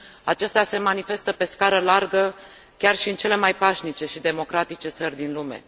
acestea se manifestă pe scară largă chiar și în cele mai pașnice și democratice țări din lume.